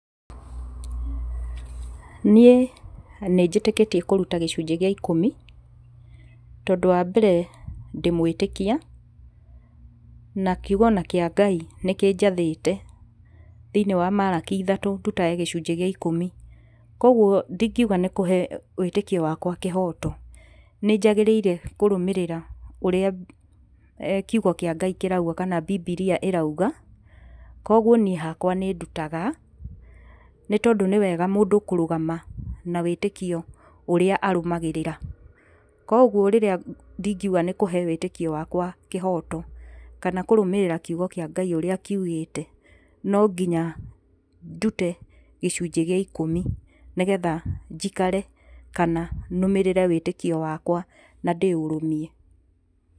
Niĩ nĩ njĩtĩkĩtie kũruta gĩcunjĩ gĩa ikũmi tondũ wa mbere ndĩ mwĩtĩkia na kigo ona kĩa Ngai nĩ kĩnjathĩte thĩiniĩ wa Maraki ithatũ ndutage gĩcunjĩ gĩa ikũmi. Kũoguo ndingiuga nĩ kũhe wĩtĩkio wakwa kĩhoto, nĩ njagĩrĩire kũrũmĩrĩra ũrĩa kigo kĩa ngai kĩrauga kana Bibiria ĩrauga. Kũoguo niĩ hakwa nĩ ndutaga nĩ tondũ nĩ wega mũndũ kũrũgama na wĩtĩkio ũrĩa arũmagĩrĩra. Kũoguo rĩrĩa ingiuga nĩ kũhe wĩtĩkio wakwa kĩhoto kana kũrũmĩrĩra kigo kĩa Ngai ũrĩa kiugĩte, no nginya ndute gĩcunjĩ gĩa ikũmi nĩ geha njikare kana nũmĩrĩre wĩtĩkio wakwa na ndĩũrũmie.